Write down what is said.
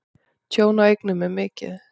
Tjón á eignum er mikið.